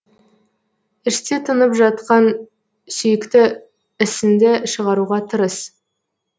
іште тынып жатқан сүйікті ісіңді шығаруға тырыс